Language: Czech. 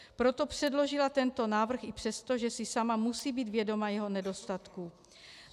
Proto předložila tento návrh i přesto, že si sama musí být vědoma jeho nedostatků.